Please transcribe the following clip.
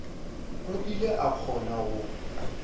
o ile a kgona go